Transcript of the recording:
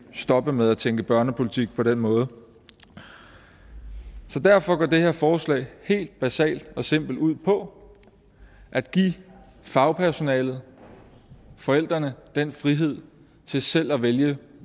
stoppe med at tænke børnepolitik på den måde så derfor går det her forslag helt basalt og simpelt ud på at give fagpersonalet og forældrene den frihed til selv at vælge